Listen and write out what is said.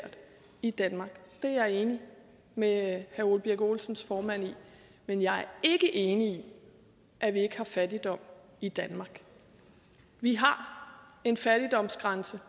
i danmark det er jeg enig med herre ole birk olesens formand i men jeg er ikke enig i at vi ikke har fattigdom i danmark vi har en fattigdomsgrænse